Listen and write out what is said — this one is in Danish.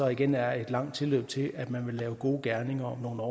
igen er et langt tilløb til at man vil lave gode gerninger om nogle år